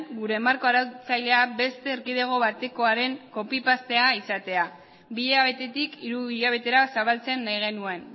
gure marko arautzailea beste erkidego batekoaren copy paste izatea bi hilabetetik hiru hilabetera zabaltzea nahi genuen